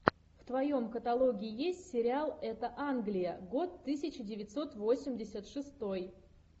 в твоем каталоге есть сериал это англия год тысяча девятьсот восемьдесят шестой